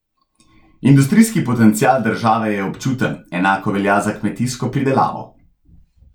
Industrijski potencial države je občuten, enako velja za kmetijsko pridelavo.